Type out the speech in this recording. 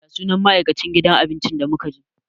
Ya sunan ma'aikacin gidan abincin da muka je?